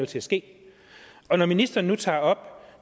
til at ske når ministeren nu tager